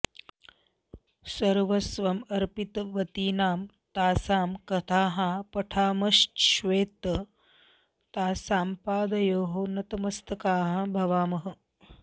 सर्वस्वम् अर्पितवतीनां तासां कथाः पठामश्चेत् तासां पादयोः नतमस्ताकाः भवामः